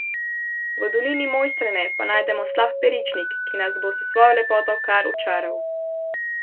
V dolini Mojstrane pa najdemo Slap Peričnik, ki nas bo s svojo lepoto kar očaral.